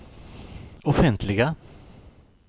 offentliga